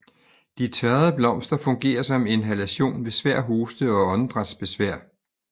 De tørrede blomster fungerer som inhalation ved svær hoste og åndedrætsbesvær